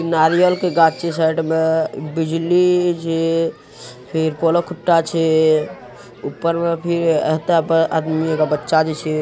नारियल के गाछ छिये साइड में बिजली जे फेर कलो के खुटा छै ऊपर में फिर एता आदमी जे बच्चा छै।